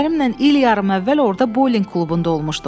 Ərimlə il yarım əvvəl orda boling klubunda olmuşduq.